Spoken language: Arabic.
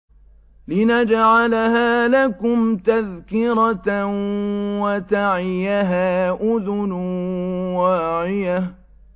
لِنَجْعَلَهَا لَكُمْ تَذْكِرَةً وَتَعِيَهَا أُذُنٌ وَاعِيَةٌ